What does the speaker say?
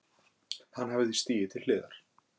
Hann hafi því stigið til hliðar